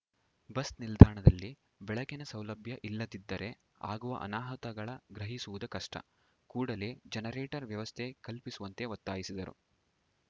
bus ನಿಲ್ದಾಣದಲ್ಲಿ ಬೆಳಕಿನ ಸೌಲಭ್ಯ ಇಲ್ಲದಿದ್ದರೆ ಆಗುವ ಅನಾಹುತಗಳ ಗ್ರಹಿಸುವುದು ಕಷ್ಟ ಕೂಡಲೆ ಜನರೇಟರ್‌ ವ್ಯವಸ್ಥೆ ಕಲ್ಪಿಸುವಂತೆ ಒತ್ತಾಯಿಸಿದರು